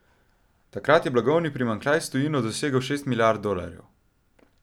Takrat je blagovni primanjkljaj s tujino dosegel šest milijard dolarjev.